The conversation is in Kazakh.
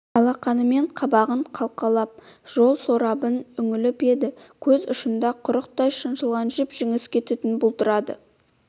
алақанымен қабағын қалқалап жол сорабына үңіліп еді көз ұшында құрықтай шаншылған жіп-жіңішке түтін бұлдырады